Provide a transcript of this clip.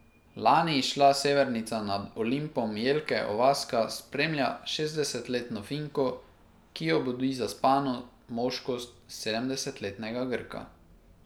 Lani izšla Severnica nad Olimpom Jelke Ovaska spremlja šestdesetletno Finko, ki obudi zaspano moškost sedemdesetletnega Grka.